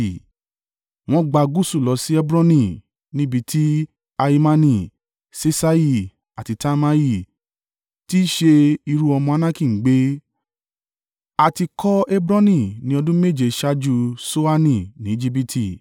Wọ́n gba gúúsù lọ sí Hebroni níbi tí Ahimani, Ṣeṣai àti Talmai tí í ṣe irú-ọmọ Anaki ń gbé. (A ti kọ́ Hebroni ní ọdún méje ṣáájú Ṣoani ní Ejibiti.)